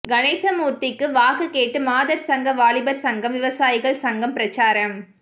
கணேசமூர்த்திக்கு வாக்கு கேட்டு மாதர் சங்கம் வாலிபர் சங்கம் விவசாயிகள் சங்கம் பிரச்சாரம்